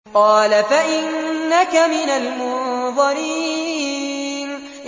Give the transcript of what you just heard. قَالَ فَإِنَّكَ مِنَ الْمُنظَرِينَ